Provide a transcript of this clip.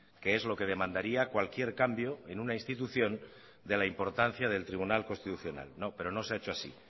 que es lo que demandaría cualquier cambio en una institución de la importancia del tribunal constitucional no pero no se ha hecho así